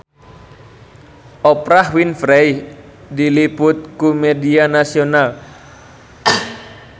Oprah Winfrey diliput ku media nasional